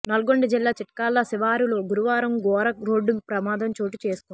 నల్గొండ జిల్లా చిట్కాల శివారులో గురువారం ఘోర రోడ్డు ప్రమాదం చోటు చేసుకుంది